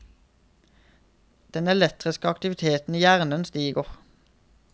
Den elektriske aktiviteten i hjernen stiger.